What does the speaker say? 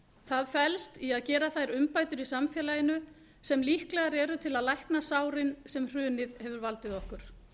það felst í að gera þær umbætur í samfélaginu sem líklegar eru til að lækna sárin sem hrunið hefur valdið okkur